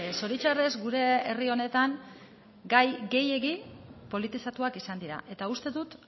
zoritxarrez gure herri honetan gai gehiegi politizatuak izan dira eta uste dut